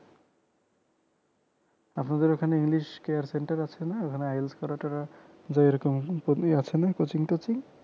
আপনাদের ওখানে english care center আছে না ওখানে IELTS করা টরা যায় এরকম coaching আছেনা coaching টোচিং